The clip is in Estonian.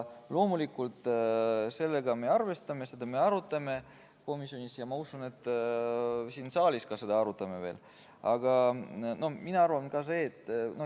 Loomulikult, sellega me arvestame, seda me arutame komisjonis ja ma usun, et ka siin saalis me veel seda arutame.